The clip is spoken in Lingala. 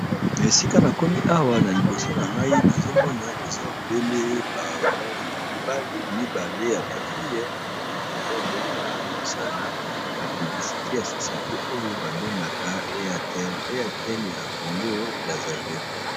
Na esika na komi awa na liboso na ngai nazomona eza obele mibali mibale ya ba fille na moni eza obele place bazosala ba publicite ya societe oyo babengaka Airtel ya Congo Brazzaville.